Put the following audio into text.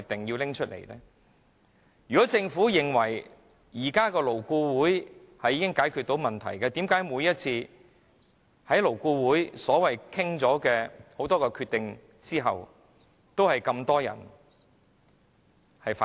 如果政府認為現時的勞顧會可以解決問題，為何每次經勞顧會商討得出的決定，都有這麼多人反對？